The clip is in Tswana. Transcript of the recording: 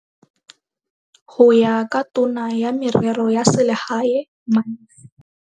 Go ya ka Tona ya Merero ya Selegae Malusi.